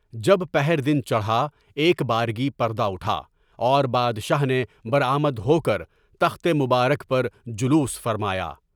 جب پہر دن چڑھا، ایک بارگی پر دہ اٹھا اور بادشاہ نے برآمد ہو کر تخت مبارک پر جلوس فرمايا۔